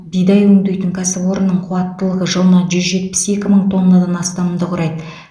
бидай өңдейтін кәсіпорынның қуаттылығы жылына жүз жетпіс екі мың тоннадан астамды құрайды